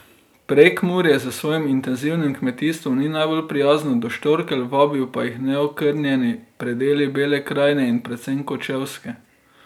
Prekmurje s svojim intenzivnim kmetijstvom ni najbolj prijazno do štorkelj, vabijo pa jih neokrnjeni predeli Bele krajine in predvsem Kočevske.